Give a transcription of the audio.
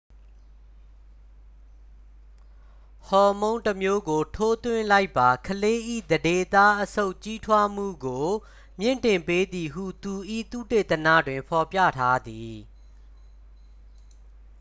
ဟော်မုန်းတစ်မျိုးကို ထိုးသွင်းလိုက်ပါ ကလေး၏ သန္ဓေသား အဆုတ် ကြီးထွားမှုကို မြှင့်တင်ပေးသည်ဟု သူ၏ သုတေသနတွင် ဖော်ပြထားသည်